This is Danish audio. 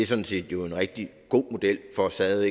sådan set en rigtig god model for stadig